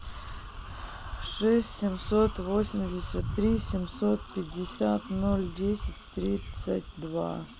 шесть семьсот восемьдесят три семьсот пятьдесят ноль десять тридцать два